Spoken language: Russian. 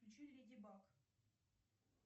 включи леди баг